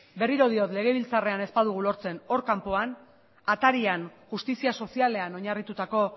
berriro diot legebiltzarrean ez badugu lortzen hor kanpoan atarian justizia sozialean oinarritutako